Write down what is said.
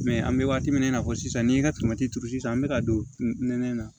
an bɛ waati min na i n'a fɔ sisan ni n ka turu sisan an bɛ ka don nɛnɛ na